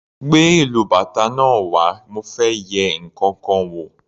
Gbé ìlú bàtá náà wá mo fẹ́ yẹ ǹkankan wò.